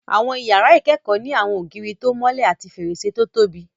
Àwọn iyàrá ìkẹ́kọ̀ọ́ ní àwọn ògiri tó mọ́lẹ̀ àti fèrèsé tó tóbi